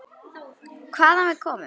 Hvaðan við komum.